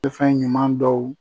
Be fɛn ɲuman dɔw